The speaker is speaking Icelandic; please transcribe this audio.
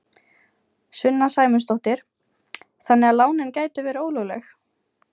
Sunna Sæmundsdóttir: Þannig að lánin gætu verið ólögleg?